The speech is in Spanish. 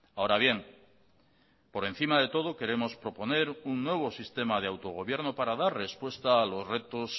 ahora bien por encima de todo queremos proponer un nuevo sistema de autogobierno para dar respuesta a los retos